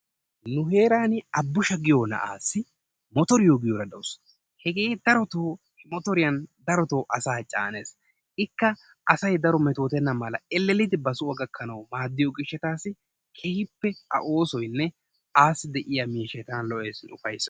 Nu heeran Abbushsha giyo naa'assi motoriyo giyoora dawus. Hegee darotoo motoriya darotoo asaa caanees. lka asay daro meetottenna mala elleeliddi ba soo gakkanaw maaddiyoo gishshattassi keehippe A oosoynne ayyo de'iya miishshay tana lo"ees, ufayssees.